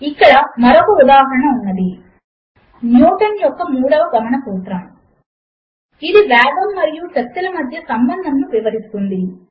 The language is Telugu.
ఇక్కడ మరొక ఉదాహరణ ఉన్నది160 న్యూటన్ యొక్క మూడవ గమన సూత్రము ఇది వేగము మరియు శక్తి ల మధ్య సంబంధమును వివరిస్తుంది